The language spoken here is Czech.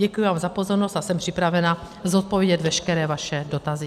Děkuji vám za pozornost a jsem připravená zodpovědět veškeré vaše dotazy.